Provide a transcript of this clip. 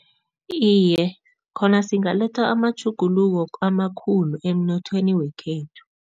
Iye, khona singaletha amatjhuguluko amakhulu emnothweni wekhethu.